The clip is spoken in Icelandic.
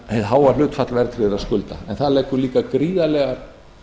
hið háa hlutfall verðtryggðra skulda en það leggur líka gríðarlegar